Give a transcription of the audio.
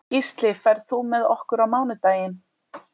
Gísli, ferð þú með okkur á mánudaginn?